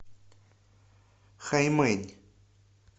хаймэнь